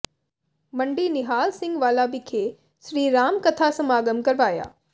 ਮੰਡੀ ਨਿਹਾਲ ਸਿੰਘ ਵਾਲਾ ਵਿਖੇ ਸ੍ਰੀ ਰਾਮ ਕਥਾ ਸਮਾਗਮ ਕਰਵਾਇਆ